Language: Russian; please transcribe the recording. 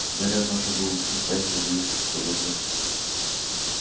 гарри однажды был и в тайне надеялся что подобное